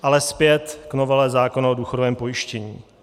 Ale zpět k novele zákona o důchodovém pojištění.